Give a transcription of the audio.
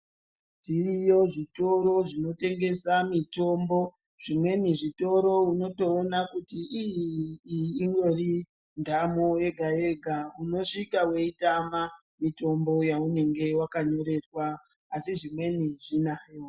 Zviriyo zvitoro zvinotengesa mitombo zvimweni zvitoro unotoona kuti ii iyi indori ndamo yega-yega. Unosvika weitama mitombo waunenge wakanyorerwa asi zvimweni zvinayo.